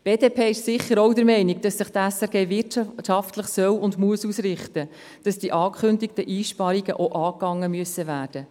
Die BDP ist sicher auch der Meinung, dass sich die SRG wirtschaftlich ausrichten soll und muss, und dass die angekündigten Einsparungen auch angegangen werden müssen.